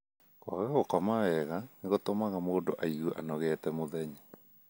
Kwaga gũkoma wega nĩ gũtũmaga mũndũ aigue anogete mũthenya .